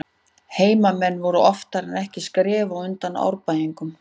Heimamenn voru oftar en ekki skrefi á undan Árbæingum.